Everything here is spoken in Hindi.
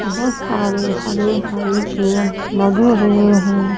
बहुत सारे हरे भरे पेड़ लगे हुए हैं।